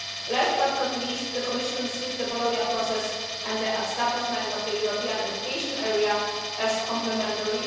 Last, but not least, the Commission sees the Bologna Process and the establishment of the European education area as complementary.